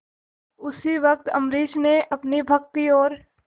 उसी वक्त अम्बरीश ने अपनी भक्ति और